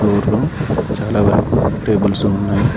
ఫ్లోర్లో చాలా వరకు టేబుల్స్ ఉన్నాయి.